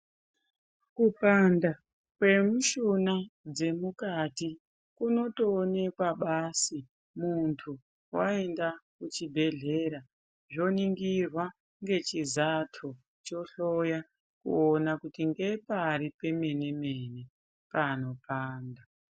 Kupanda kwemishuna dzemukati kunotoonekwa basi muntu waenda kuchibhedhlera woningirwa ngechizato ,chohloya kuona kuti ngepari pemene-mene panopanda.